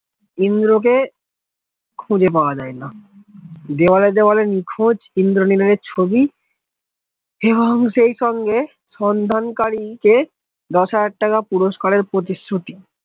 ইন্দ্রকে খুঁজে পাওয়া যায় না দেয়ালে দেওয়ালে নিখোঁজ ইন্দ্রনীলের ছবি এবং সেইসঙ্গে সন্ধানকারীদের দশ হাজার টাকা পুরস্কারের প্রতিশ্রুতি